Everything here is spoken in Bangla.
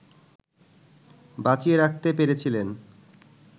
বাঁচিয়ে রাখতে পেরেছিলেন